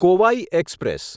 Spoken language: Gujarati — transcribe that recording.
કોવાઈ એક્સપ્રેસ